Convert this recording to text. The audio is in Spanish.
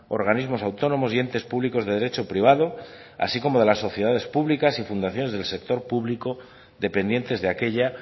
organismos autónomos y entes públicos de derecho privado así como de las sociedades públicas y fundaciones del sector público dependientes de aquella